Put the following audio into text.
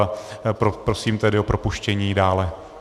A prosím tedy o propuštění dále.